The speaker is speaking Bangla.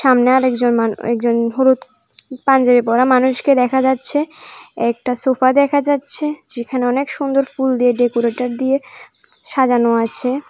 সামনে আরেকজন মানু একজন হলুদ পাঞ্জাবি পরা মানুষকে দেখা যাচ্ছে একটা সোফা দেখা যাচ্ছে যেখানে অনেক সুন্দর ফুল দিয়ে ডেকোরেটর দিয়ে সাজানো আছে।